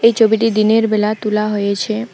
এই ছবিটি দিনের বেলা তোলা হয়েছে।